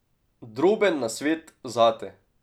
Droben nasvet zate.